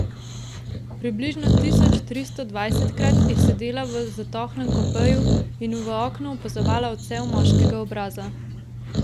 Približno tisoč tristo dvajsetkrat je sedela v zatohlem kupeju in v oknu opazovala odsev moškega obraza.